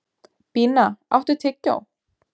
Bína, áttu tyggjó?